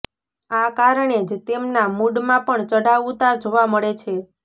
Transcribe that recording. આ કારણે જ તેમના મૂડમાં પણ ચડાવ ઉતાર જોવા મળે છે